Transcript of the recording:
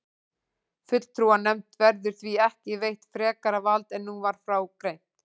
Fulltrúanefnd verður því ekki veitt frekara vald en nú var frá greint.